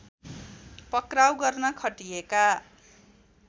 पक्राउ गर्न खटिएका